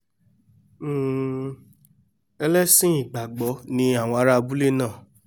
um ẹlẹ́sìn ìgbàgbọ́ ni àwọn ará abúlé náà